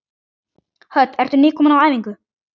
Hödd: Ertu nýkominn á æfingu?